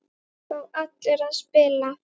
Fá allir að spila?